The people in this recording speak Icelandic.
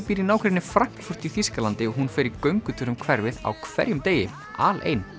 býr í nágrenni Frankfurt í Þýskalandi og hún fer í göngutúr um hverfið á hverjum degi alein